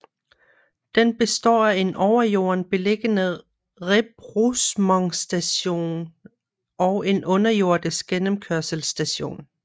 Den består af en over jorden beliggende rebroussementsstation og en underjordisk gennemkørselsstation